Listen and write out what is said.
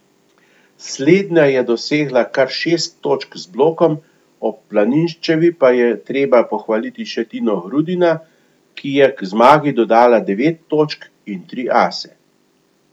Slednja je dosegla kar šest točk z blokom, ob Planinščevi pa je treba pohvaliti še Tino Grudina, ki je k zmagi dodala devet točk in tri ase.